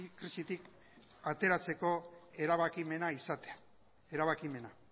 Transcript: krisitik ateratzeko erabakimena izatea erabakimena